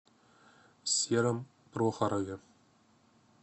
сером прохорове